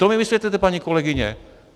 To my vysvětlete, paní kolegyně.